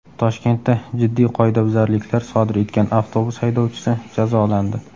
Toshkentda jiddiy qoidabuzarliklar sodir etgan avtobus haydovchisi jazolandi.